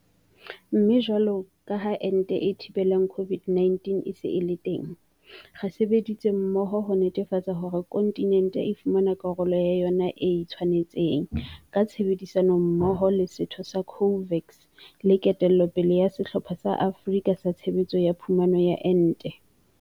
Mme jwalo ka ha ente e thibelang COVID-19 e se e le teng, re sebeditse mmoho ho netefatsa hore kontinente e fumana karolo ya yona e e tshwanetseng, ka tshebedisano mmoho le setheo sa COVAX le ketello pele ya Sehlopha sa Afrika sa Tshebetso ya Phumano ya Ente.